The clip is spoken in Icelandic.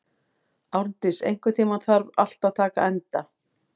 Árndís, einhvern tímann þarf allt að taka enda.